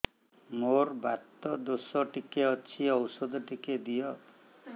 ମୋର୍ ବାତ ଦୋଷ ଟିକେ ଅଛି ଔଷଧ ଟିକେ ଦିଅ